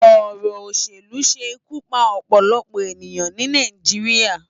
Òrò óṣélú ṣé ikú pá òpòlòpò eniyán ni Náijiriá